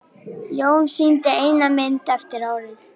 Jón sýndi eina mynd eftir árið.